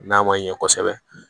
N'a ma ɲɛ kosɛbɛ